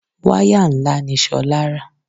Wáyà ńlá ni Ṣolá rà.